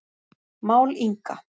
Mál Inga